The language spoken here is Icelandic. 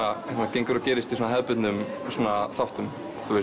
gengur og gerist í svona hefðbundnum þáttum